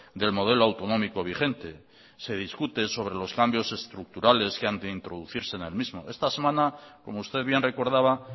del modelo autonómico vigente se discute sobre los cambios estructurales que han de introducirse en el mismo esta semana como usted bien recordaba